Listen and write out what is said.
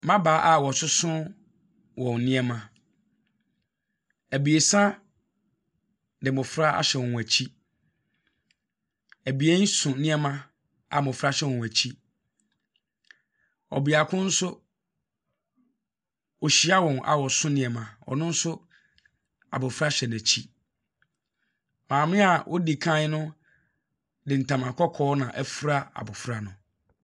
Mmabaa a wɔsoso wɔ nneɛma. Abiesa de mmofra ahyɛ wɔn akyi. Abien so nneɛma a mmofra hyɛ wɔn akyi. Ɔbeako nso ɔrehyia a wɔso nneɛma. Ɔno nso abofra hyɛ n'akyi. Aame a odi kan no, de ntama kɔkɔɔ na afura abofra no.